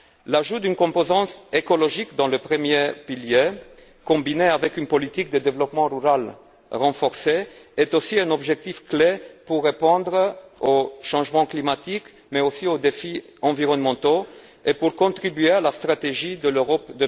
L'ajout d'une composante écologique dans le premier pilier, combinée avec une politique de développement rural renforcée, est aussi un objectif clé pour répondre au changement climatique, mais aussi aux défis environnementaux et pour contribuer à la stratégie Europe